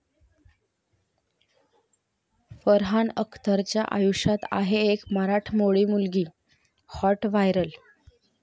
फरहान अख्तरच्या आयुष्यात आहे एक मराठमोळी मुलगी, हाॅट व्हायरल